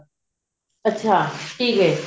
ਅੱਛਾ ਠੀਕ ਹੈ